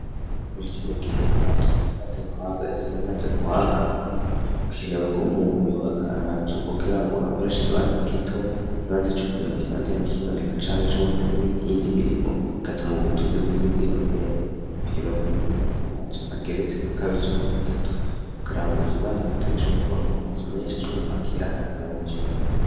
Muri kino gihe amatongo yamaze kwaga, isi yamaze kwaga, bikenewe ko umuntu yubaka amazu kugira ngo akoresha ikibanza gito, ikibanza co kurima kibandanye kiboneka canke ico gukora iyindi mirimo, bigatuma ubutunzi bw'igihugu bwiyongera, bikenewe ko umuntu yubaka amazu ageretse nka kabiri canke gatatu kugira ngo ikibanza gito gishobore kubakwamwo amazu menshi ashobora kwakira abantu benshi.